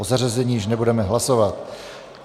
O zařazení již nebudeme hlasovat.